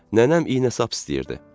Nənəm iynə-sap istəyirdi.